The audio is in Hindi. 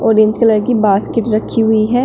ऑरेंज कलर की बास्केट रखी हुई है।